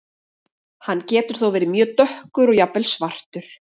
Hann getur þó verið mjög dökkur og jafnvel svartur.